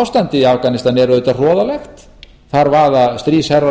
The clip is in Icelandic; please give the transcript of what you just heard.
ástandið í afganistan er auðvitað hroðalegt þar vaða stríðsherrar